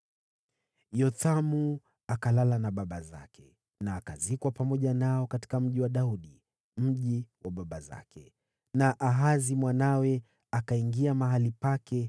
Yothamu akalala na baba zake, akazikwa pamoja nao katika Mji wa Daudi, mji wa baba zake. Naye Ahazi mwanawe akawa mfalme baada yake.